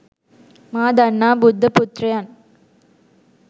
මා දන්නා බුද්ධ පුත්‍රයන්